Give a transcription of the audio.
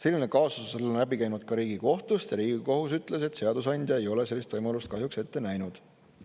Selline kaasus on läbi käinud ka Riigikohtust ja Riigikohus ütles, et seadusandja ei ole sellist võimalust kahjuks ette näinud.